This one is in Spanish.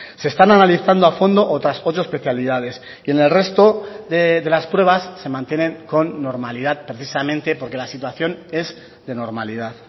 se están analizando a fondo otras ocho especialidades y en el resto de las pruebas se mantienen con normalidad precisamente porque la situación es de normalidad